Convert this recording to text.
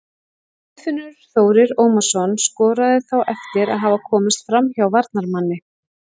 Guðfinnur Þórir Ómarsson skoraði þá eftir að hafa komist framhjá varnarmanni.